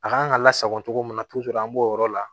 A kan ka lasago cogo min na an b'o yɔrɔ la